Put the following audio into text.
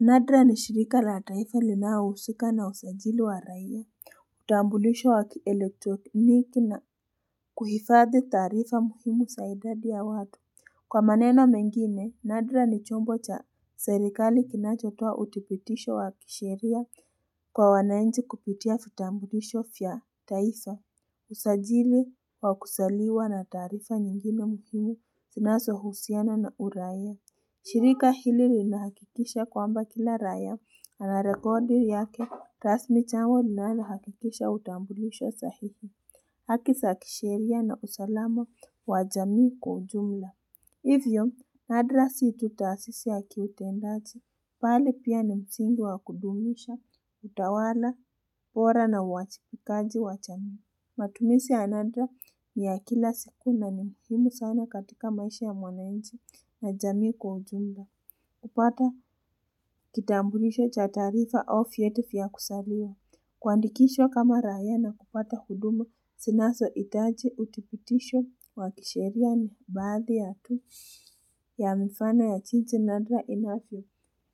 Nadra ni shirika la taifa linalohusika na usajili wa raia, tambulisho wa kielektroniki na kuhifadhi taarifa muhimu za idadi ya watu. Kwa maneno mengine nadra ni chombo cha serikali kinachotoa uthipitisho wa sheria kwa wananchi kupitia vitambulisho vya taifa. Usajili wa kusaliwa na taarifa nyingine muhimu vinasohusiana na uraia. Shirika hili linahakikisha kwamba kila raia anarekodi yake rasmi chambo linalohakikisha utambulisho sahihi. Haki sa kisheria na usalama wa jamii kwa ujumla. Hivyo, nadra si tu taasisi ya kiutendaji. Bali pia ni msingi wa kudumisha utawala pora na uachipikaji wa jamii. Matumisi ya nadra ni ya kila siku na ni muhimu sana katika maisha ya mwanainchi na jamii kwa ujumla. Kupata kitambulisho cha taarifa au vyeti vya kusaliwa. Kuandikishwa kama raia na kupata huduma sinasohitaji uthipitisho wa kisheria ni baadhi ya tu ya mifano ya jinsi nadra inavyo